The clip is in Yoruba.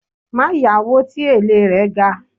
Ma yawo tí èlé rẹ̀ ga